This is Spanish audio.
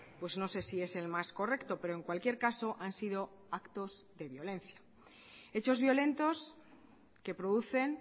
pues no se sí es el más correcto pero en cualquier caso han sido actos de violencia hechos violentos que producen